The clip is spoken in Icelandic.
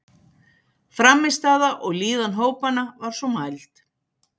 Frammistaða og líðan hópanna var svo mæld.